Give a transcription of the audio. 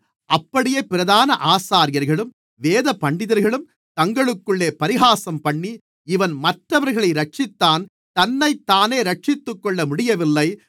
அப்படியே பிரதான ஆசாரியர்களும் வேதபண்டிதர்களும் தங்களுக்குள்ளே பரிகாசம்பண்ணி இவன் மற்றவர்களை இரட்சித்தான் தன்னைத்தானே இரட்சித்துக்கொள்ள முடியவில்லை